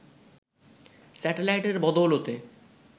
স্যাটেলাইটের বদৌলতে